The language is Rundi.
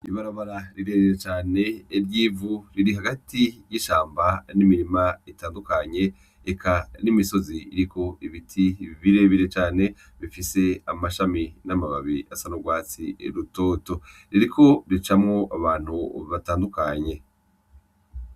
Ibarabara rirerire cane ry'ivu riri hagati y'ishamba n'imirima itandukanye, eka n'imisozi iriko ibiti birebire cane bifise amashami n'amababi asa n'urwatsi rutoto. Ririko ricamwo abantu batandukanye.